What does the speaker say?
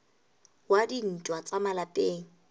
wa dintwa tsa ka malapeng